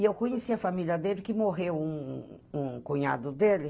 E eu conheci a família dele, que morreu um um um cunhado dele.